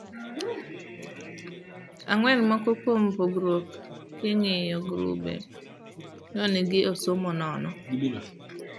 Ang'wen, moko kuom pogruok king'iyo grube nong'ii e somo no